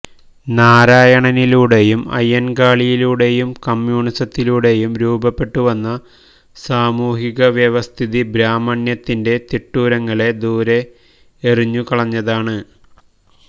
നാരായണനിലൂടെയും അയ്യന് കാളിയിലൂടെയും കമ്യൂണിസത്തിലൂടെയും രൂപപ്പെട്ടുവന്ന സാമൂഹിക വ്യവസ്ഥിതി ബ്രാഹ്മണ്യത്തിന്റെ തിട്ടൂരങ്ങളെ ദൂരെ എറിഞ്ഞു കളഞ്ഞതാണ്